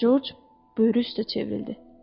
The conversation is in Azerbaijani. Corc buyruq üstə çevrildi.